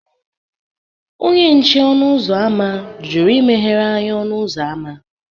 Onye nche ọnụ ụzọ ámá jụrụ imeghere anyị ọnụ ụzọ ámá